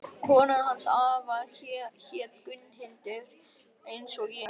Konan hans afa hét Gunnhildur eins og ég.